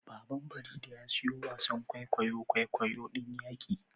Baban farida ya siyo wasan kwaikwayon kwaikwayo din yaqi